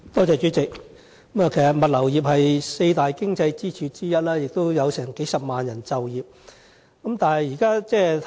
主席，物流業是本港四大經濟支柱之一，亦有數十萬就業人數。